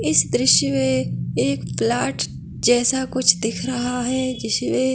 इस दृश्य मे एक प्लाट जैसा कुछ दिख रहा हैं जिसमे--